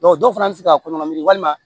dɔw fana bɛ se ka koɲɔgɔn min walima